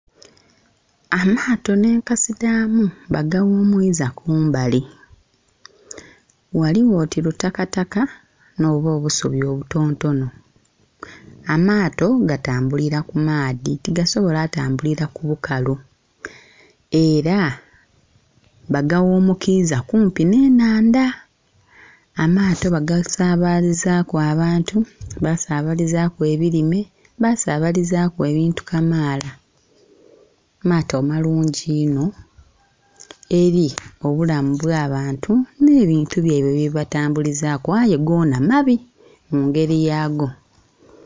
Amaato nhe enkasi dhamu bagaghumwiza kumbali, ghaligho oti lutakataka nho bwo obusubi obutontonho. Amaato gatambulira ku maadhi tigasobola kutambulira ku bukalu era baga ghumukiza kumpi nhe enhandha, amaato bagasabalizaku abantu, basabalizaku ebirime, basabalizaku ebintu kamaala maato malungi inho eri obulamu obwa bantu nhe bintu byaibwe bye batambulizaku aye goona mabi mungeri yaago.